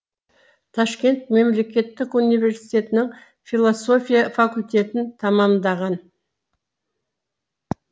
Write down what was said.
ташкент мемлекетттік университетінің философия факультетін тәмамдаған